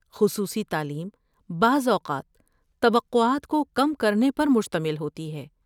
خصوصی تعلیم بعض اوقات توقعات کو کم کرنے پر مشتمل ہوتی ہے۔